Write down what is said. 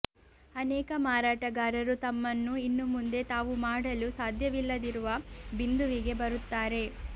ಅನೇಕ ಮಾರಾಟಗಾರರು ತಮ್ಮನ್ನು ಇನ್ನು ಮುಂದೆ ತಾವು ಮಾಡಲು ಸಾಧ್ಯವಿಲ್ಲದಿರುವ ಬಿಂದುವಿಗೆ ಬರುತ್ತಾರೆ